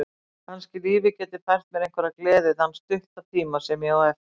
Kannski lífið geti fært mér einhverja gleði þann stutta tíma sem ég á eftir.